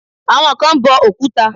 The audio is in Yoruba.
Àwọn kan ń bọ Òkúta.